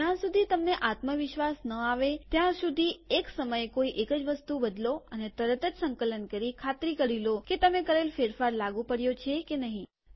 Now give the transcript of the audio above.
જ્યાં સુધી તમને આત્મવિશ્વાસ ન આવે ત્યાં સુધી એક સમયે કોઈ એક જ વસ્તુ બદલો અને તરત જ સંકલન કરી ખાતરી કરી લો કે તમે કરેલ ફેરફાર લાગુ પડ્યો છે કે નહીં